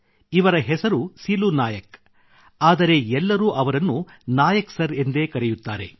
ಇವರ ಹೆಸರು ಸಿಲು ನಾಯಕ್ ಆದರೆ ಎಲ್ಲರೂ ಅವರನ್ನು ನಾಯಕ್ ಸರ್ ಎಂದೇ ಕರೆಯುತ್ತಾರೆ